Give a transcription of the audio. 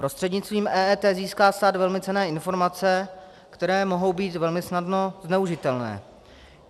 Prostřednictvím EET získá stát velmi cenné informace, které mohou být velmi snadno zneužitelné.